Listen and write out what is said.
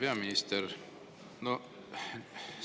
Hea peaminister!